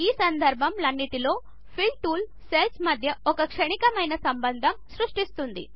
ఈ సందర్భములన్నింటిలో fill tool cells మధ్య ఒక క్షణికమైన సంబంధము సృష్టిస్తుంది